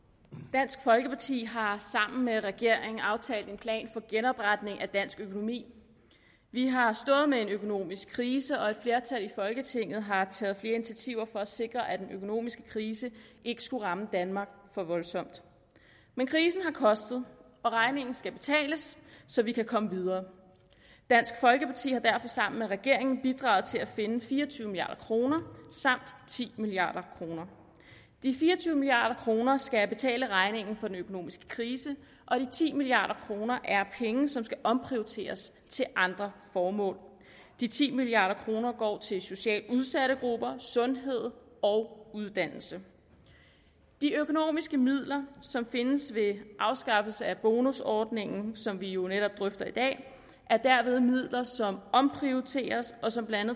dansk folkeparti har sammen med regeringen aftalt en plan for genopretning af dansk økonomi vi har stået med en økonomisk krise og et flertal i folketinget har taget flere initiativer for at sikre at den økonomiske krise ikke skulle ramme danmark for voldsomt men krisen har kostet og regningen skal betales så vi kan komme videre dansk folkeparti har derfor sammen med regeringen bidraget til at finde fire og tyve milliard kroner samt ti milliard kroner de fire og tyve milliard kroner skal betale regningen for den økonomiske krise og de ti milliard kroner er penge som skal omprioriteres til andre formål de ti milliard kroner går til socialt udsatte grupper sundhed og uddannelse de økonomiske midler som findes ved afskaffelse af bonusordningen som vi jo netop drøfter i dag er derved midler som omprioriteres og som blandt